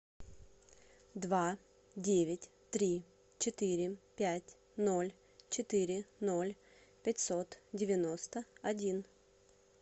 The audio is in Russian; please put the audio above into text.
два девять три четыре пять ноль четыре ноль пятьсот девяносто один